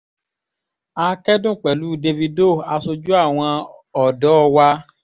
a kẹ́dùn pẹ̀lú dávido aṣojú àwọn ọ̀dọ́ wa